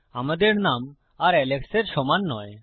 আমাদের নাম আর এলেক্সের সমান নয়